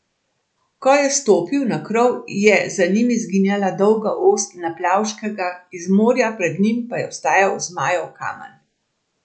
Ko je stopil na krov, je za njimi izginjala dolga ost Naplavškega, iz morja pred njimi pa je vstajal Zmajev kamen.